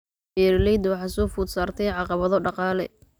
Beeralayda waxaa soo food saartay caqabado dhaqaale.